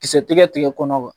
Kisɛ ti kɛ tigɛ kɔnɔ wa?